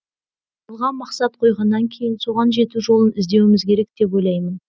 алға мақсат қойғаннан кейін соған жету жолын іздеуіміз керек деп ойлаймын